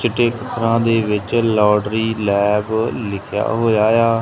ਚਿੱਟੇ ਅੱਖਰਾਂ ਦੇ ਵਿਚ ਲਬੋਰੇਟਰੀ ਲੈਬ ਲਿੱਖਿਆ ਹੋਇਆ ਆ।